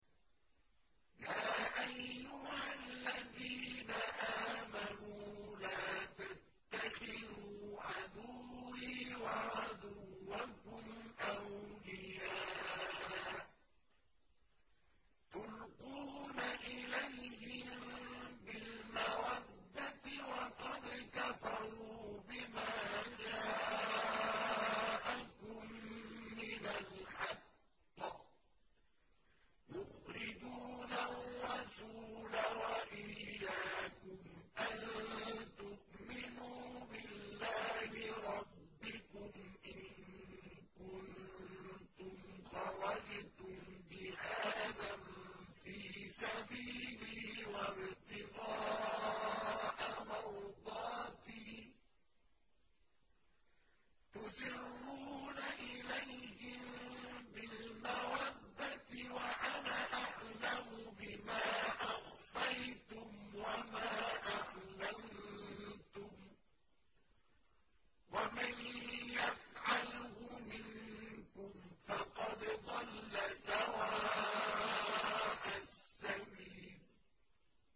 يَا أَيُّهَا الَّذِينَ آمَنُوا لَا تَتَّخِذُوا عَدُوِّي وَعَدُوَّكُمْ أَوْلِيَاءَ تُلْقُونَ إِلَيْهِم بِالْمَوَدَّةِ وَقَدْ كَفَرُوا بِمَا جَاءَكُم مِّنَ الْحَقِّ يُخْرِجُونَ الرَّسُولَ وَإِيَّاكُمْ ۙ أَن تُؤْمِنُوا بِاللَّهِ رَبِّكُمْ إِن كُنتُمْ خَرَجْتُمْ جِهَادًا فِي سَبِيلِي وَابْتِغَاءَ مَرْضَاتِي ۚ تُسِرُّونَ إِلَيْهِم بِالْمَوَدَّةِ وَأَنَا أَعْلَمُ بِمَا أَخْفَيْتُمْ وَمَا أَعْلَنتُمْ ۚ وَمَن يَفْعَلْهُ مِنكُمْ فَقَدْ ضَلَّ سَوَاءَ السَّبِيلِ